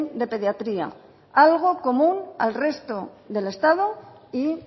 de pediatría algo común al resto del estado y